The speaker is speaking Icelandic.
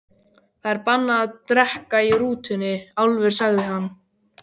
Það er bannað að drekka í rútunni, Álfur, sagði hann.